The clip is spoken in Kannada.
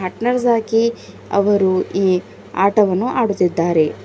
ಆಗಿ ಅವರು ಈ ಆಟವನ್ನು ಆಡುತ್ತಿದ್ದಾರೆ.